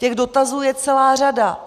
Těch dotazů je celá řada.